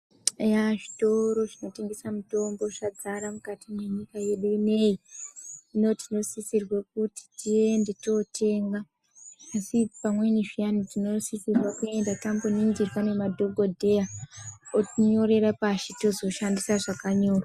Eya zvitoro zvinotengesa mitombo zvadzara mukati mwenyika yedu ineyi. Hino tinosisirwe kuti tiende tootenga asi pamweni zviyani tinosisirwe kuenda tamboningirwa ngemadhokodheya otinyorera pashi tozoshandisa zvakanyorwa.